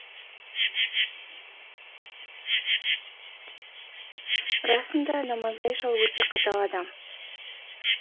расында намазбай шал өте қатал адам